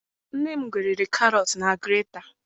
Nne m gweriri Karọt na grata.